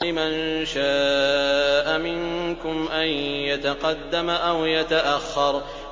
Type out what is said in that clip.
لِمَن شَاءَ مِنكُمْ أَن يَتَقَدَّمَ أَوْ يَتَأَخَّرَ